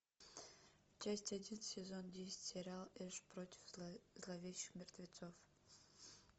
часть один сезон десять сериал эш против зловещих мертвецов